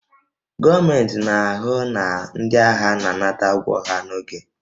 Gọọmentị na-ahụ na ndị agha na-anata ụgwọ ha n'oge